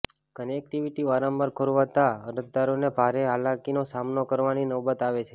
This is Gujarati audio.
કનેક્ટીવીટી વારંવાર ખોરવાતા અરજદારોને ભારે હાલાકીનો સામનો કરવાની નોબત આવે છે